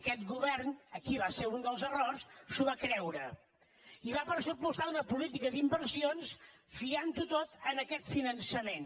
aquest govern aquí va ser un dels errors s’ho va creure i va pressupostar una política d’inversions fiant ho tot a aquest finançament